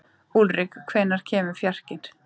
Úlrik, hvenær kemur fjarkinn?